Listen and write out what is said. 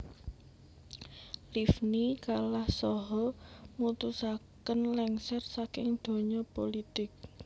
Livni kalah saha mutusaken lengser saking donya pulitik